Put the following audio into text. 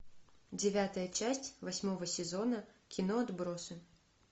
девятая часть восьмого сезона кино отбросы